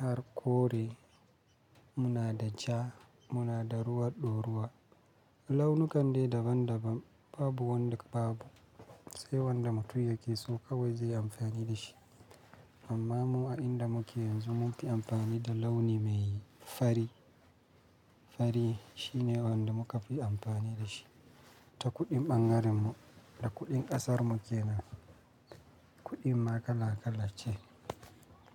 har kore, muna da ja, muna da ruwa ɗoruwa. Launu kande daban daban babu wanda babu, sai wanda mutum yakeso kawai zai yi amfani da shi. Amma mu a inda muke yanzu munfi amfani da launi mai fari. Fari shine wanda muka fi amfani da shi ta kuɗin ɓangaren mu, da kuɗin ƙasar muke nan, kuɗin ma kala kala ce.